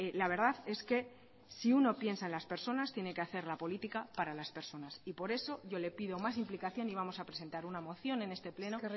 la verdad es que si uno piensa en las personas tiene que hacer la política para las personas y por eso yo le pido más implicación y vamos a presentar una moción en este pleno